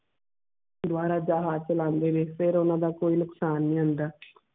ਦੁਵਾ ਰਾਜਾ ਹਰ ਚਲਾਂਦੇ ਨੇ ਫਿਰ ਓਨਾ ਦਾ ਕੋਈ ਨੁਕਸਾਨ ਨੀ ਹੋਂਦ.